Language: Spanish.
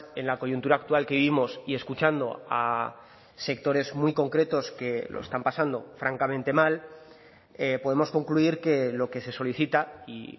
en la coyuntura actual que vivimos y escuchando a sectores muy concretos que lo están pasando francamente mal podemos concluir que lo que se solicita y